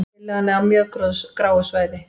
Tillagan á mjög gráu svæði